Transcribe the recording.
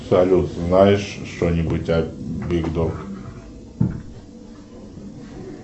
салют знаешь что нибудь о биг дог